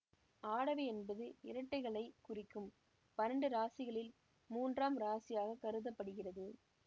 ஆடவை என்பது இரட்டைகளைக் குறிக்கும் பன்னெண்டு இராசிகளில் மூன்றாம் இராசியாக கருத படுகிறது